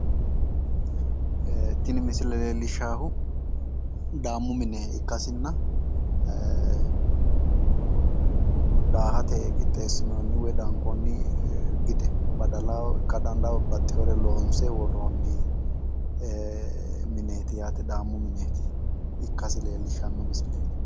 Tini misile leellishshaahu daammu mine ikkasinna daahate qixxeessinoonni woyi daankoonni gide badala ikka dandawo babbaxxiwore loonse worroonni mineeti yaate. Daammu mineeti. Ikkasi leellishshanno misileeti.